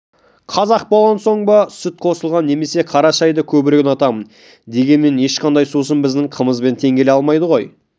қазақ болған соң ба сүт қосылған немесе қара шайды көбірек ұнатамын дегенмен ешқандай сусын біздің қымызбен тең келе алмайды ғой